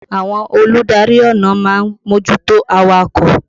Àwọn olùdarí ọ̀nà ma ń mójútó awakọ̀.